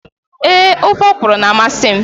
Ee, ofe ọkwụrụ na-amasị m.